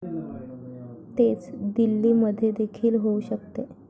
तेच दिल्लीमध्येदेखील होऊ शकते.